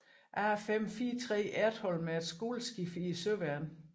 A543 Ertholm er et skoleskib i Søværnet